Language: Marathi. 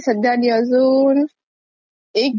एक ती हिची पण होती सोनाली बेंद्रे ची,